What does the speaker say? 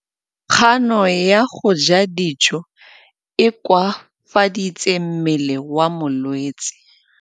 Kganô ya go ja dijo e koafaditse mmele wa molwetse.